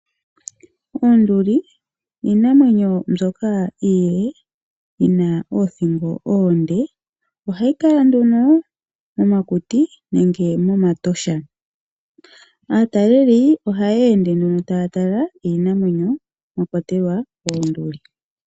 Oonduli iinamwenyo mbyoka yili yina oothingo oonde, ohayi kala nduno momakuti nenge momatosha. Aataleli ohaya ende nduno taya tala iinamwenyo mwa kwatelwa oonduli.